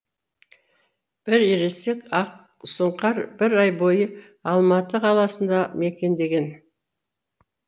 бір ересек ақсұңқар бір ай бойы алматы қаласында мекендеген